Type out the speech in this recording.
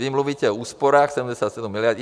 Vy mluvíte o úsporách 77 miliard.